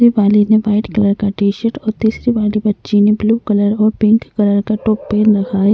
वो वाली ने वाइट कलर का टी-शर्ट और तीसरी वाली बच्ची ने ब्लू कलर और पिंक का टॉप पहन रखा है।